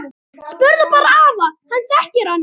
Spurðu bara afa, hann þekkir hana!